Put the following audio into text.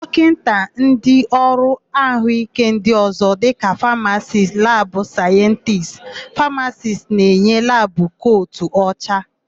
Dọkịta na ndịọrụ àhụ́íké ndị ọ̀zọ́ dịka famacist, labụ sayentisti, fisioterapisti na-eyi labụ kotu ọcha.